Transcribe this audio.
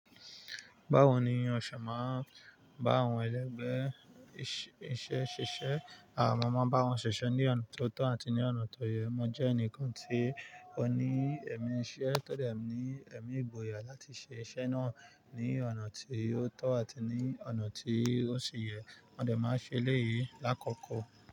Báwo ni ò ṣe màa n bá àwọn ẹlẹgbẹ́ iṣẹ́ ṣise? À mọ maa n bá wọn ṣiṣẹ́ ní ọ̀nà tó tọ́ àti ní ọ̀nà tó yẹ. Mo jẹ́ ẹnìkan tí ó ní ẹ̀mí iṣẹ́ tó dẹ̀ ní ẹ̀mí ìgboyà láti ṣe iṣẹ́ náà ní ọ̀nà tí ó tọ́ àti ní ọ̀nà tí ó ṣe yẹ. Mo ẹ̀ máa sẹ eléyìí lákọ̀ọ̀kọ̀.